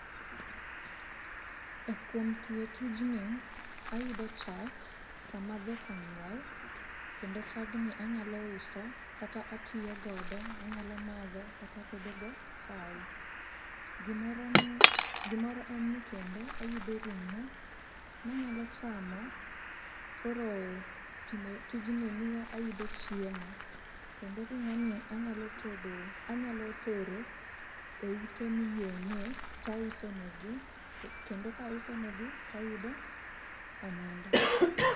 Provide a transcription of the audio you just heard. E kuom tiyo tijni, ayudo chak sama dhok onyuol kendo chagni anyalo uso kata atiyogodo, anyalo madho kata atedogo chae. Gimoro ni, gimoro en ni kendo ayudo ring'o manyalo chamo koro timo tijni miyo a yudo chiemo. Kendo ring'o ni anyalo tero e ute miyeng'e tauso negi, kendo kauso negi tayudo omenda.